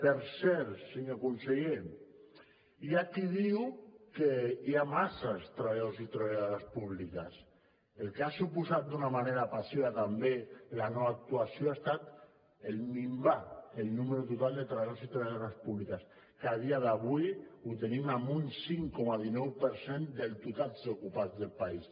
per cert senyor conseller hi ha qui diu que hi ha masses treballadors i treballadores públiques el que ha suposat d’una manera passiva també la no actuació ha estat minvar el número total de treballadors i treballadores públiques que a dia d’avui ho tenim en un cinc coma dinou per cent del total d’ocupats del país